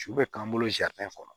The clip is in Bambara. Su bɛ k'an bolo kɔnɔ